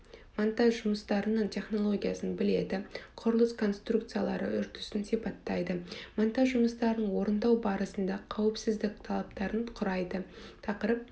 монтаж жұмыстарының технологиясын біледі құрылыс конструкциялары үрдісін сипаттайды монтаж жұмыстарын орындау барысында қауіпсіздік талаптарын құрайды тақырып